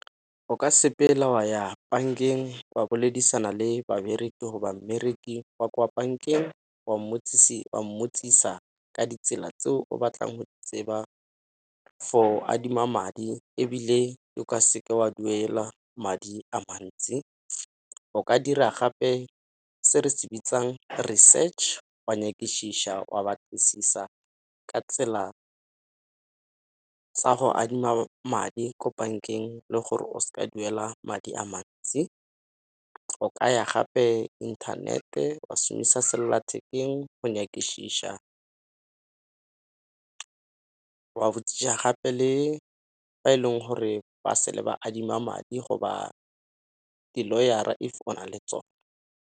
O ka sepela wa ya bankeng wa boledisana le babereki mmereki wa kwa bankeng wa mmotsisa ka ditsela tseo batlang go di tseba for adima madi ebile o ka seke wa duela madi a mantsi. O ka dira gape se re se bitsang research wa wa batlisisa ka tsela tsa go adima madi ko bankeng le gore o seke wa duela madi a mantsi. O ka ya gape inthanete wa šomisa sellathekeng go , wa gape le ba e leng gore ba se le ba adima madi go ba di-lawyer-a if o na le tsone.